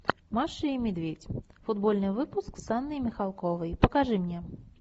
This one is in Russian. маша и медведь футбольный выпуск с анной михалковой покажи мне